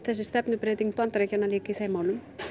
þessi stefnubreyting Bandaríkjanna birtist líka í þeim málum